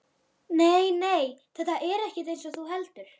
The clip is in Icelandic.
Nei, nei, þetta er ekkert eins og þú heldur.